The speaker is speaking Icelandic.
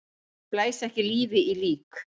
Blæs ekki lífi í lík!